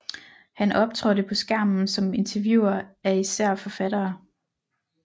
Han optrådte på skærmen som interviewer af især forfattere